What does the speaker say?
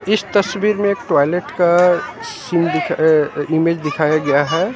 इस तस्वीर में एक टॉयलेट का सीन दी अ इमेज दिखाया गया है।